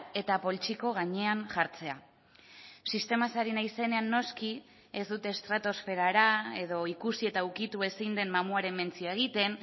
eta poltsiko gainean jartzea sistemaz ari naizenean noski ez dut estratosferara edo ikusi eta ukitu ezin den mamuaren mentzioa egiten